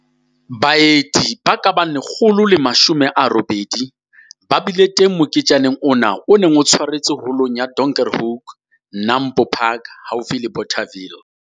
Baeti ba ka bang 180 ba bile teng moketjaneng ona o neng o tshwaretswe holong ya Donkerhoek, NAMPO Park, haufi le Bothaville.